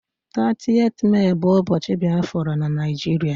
30th Mee bu ubochi Biafra na Naijiria